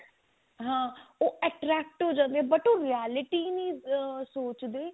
ਹਾਂ ਉਹ attract ਹੋ ਜਾਂਦੇ ਆ but ਉਹ realty ਨੀ ah ਸੋਚਦੇ